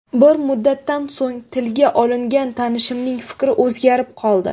Bir muddatdan so‘ng tilga olingan tanishimning fikri o‘zgarib qoldi.